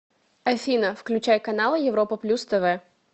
афина включай каналы европа плюс тв